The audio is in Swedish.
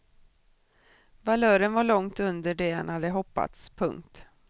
Valören var långt under det han hade hoppats. punkt